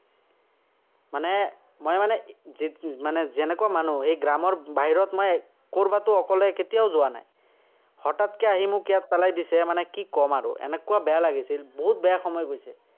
মানে, মই মানে যেনেকুৱা মানুহ হয়, সেই গ্ৰামৰ বাহিৰত মই কৰবাতো অকলে কেতিয়াও যোৱা নায়। আহি মোক ইয়াত পেলাই দিছে, মানে কি ক'ম আৰু। এনেকুৱা বেয়া লাগিছিল, বহুত বেয়া সময় গৈছে।